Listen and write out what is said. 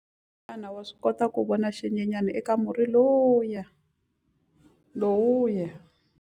Xana wa swi kota ku vona xinyenyana eka murhi lowuya?